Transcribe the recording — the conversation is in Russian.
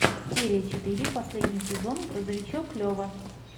серия четыре последний сезон грузовичок лева